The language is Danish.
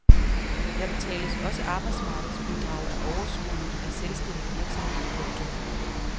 Der betales også arbejdsmarkedsbidrag af overskuddet af selvstændig virksomhed. punktum